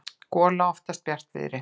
gola oftast bjartviðri.